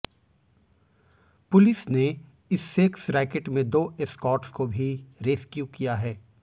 police ने इस sex racket में दो एस्कॉर्ट्स को भी रेस्क्यू किया है